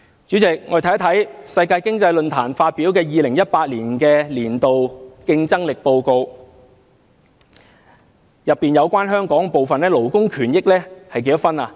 主席，我們看看世界經濟論壇發表的2018年度全球競爭力報告，當中有關香港的部分，勞工權益有多少分呢？